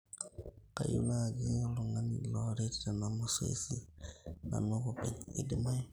kayieu naajin oltungani laret tena masoesi nanun ake openy, keidimayu